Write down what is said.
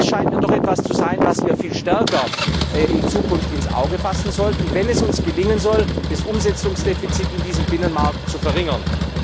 Das scheint mir doch etwas zu sein, was wir in Zukunft viel stärker ins Auge fassen sollten, wenn es uns gelingen soll, das Umsetzungsdefizit in diesem Binnenmarkt zu verringern.